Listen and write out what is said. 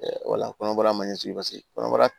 wala kɔnɔbara ma ɲɛsigi paseke kɔnɔbara